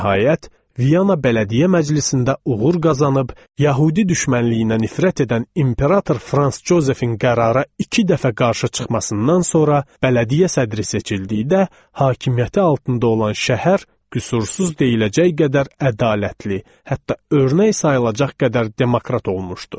Nəhayət, Viyana bələdiyyə məclisində uğur qazanıb, yəhudi düşmənliyinə nifrət edən imperator Frans Jozefin qərara iki dəfə qarşı çıxmasından sonra bələdiyyə sədri seçildiyi də hakimiyyəti altında olan şəhər qüsursuz deyiləcək qədər ədalətli, hətta örnək sayılacaq qədər demokrat olmuşdu.